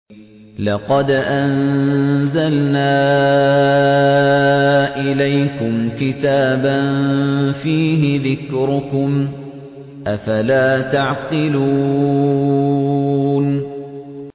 لَقَدْ أَنزَلْنَا إِلَيْكُمْ كِتَابًا فِيهِ ذِكْرُكُمْ ۖ أَفَلَا تَعْقِلُونَ